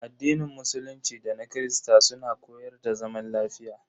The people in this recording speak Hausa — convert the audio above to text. Addinin musulunci da na Kirista suna koyar da zaman lafiya.